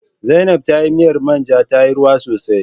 Zainaib tayi miyar manja tayi ruwa sosai